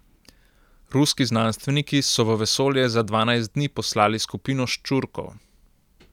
Ruski znanstveniki so v vesolje za dvanajst dni poslali skupino ščurkov.